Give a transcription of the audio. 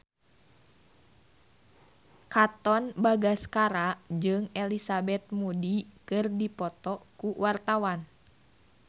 Katon Bagaskara jeung Elizabeth Moody keur dipoto ku wartawan